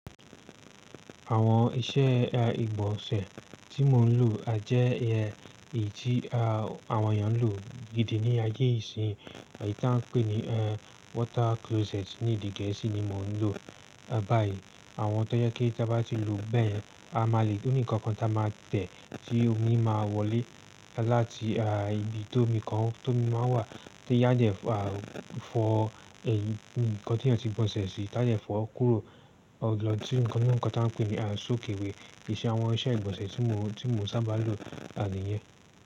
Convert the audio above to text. Àwọn iṣẹ́ ìgbọ̀nsẹ̀ tí mò ń lò a jẹ́ iyen, èyí tí àwọn èèyàn ń lò gidi ní ayé ìsin. Èyí tí à ń pè ní water closet ní èdè gẹ̀ẹ́sì ni mò ń lò báyìí. Àwọn tó jẹ kí tí a bá ti lò ó bẹ́ yen a má lè oní ǹkan kan tí a máa tẹ̀ tí omi máa wọlé láti ibi tó omi kan tó omi máa wà tó á dẹ fọ èhn nkan tí èèyàn tí gbọ̀nsẹ̀ sí. Táde fọ kúrò lọ sí ǹkan inu ńkan tí à ń pè ní soakaway. Ìṣẹ́ àwọn iṣẹ́ ìgbọ̀nsẹ̀ tí mò ń sábà lò ni ìyẹn.